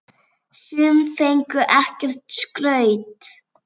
Sum fengu ekkert skraut.